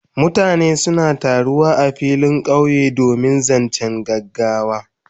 Mutane suna taru a filin kauye in zancen gaggawa.